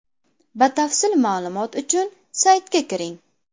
Batafsil ma’lumot uchun saytiga kiring!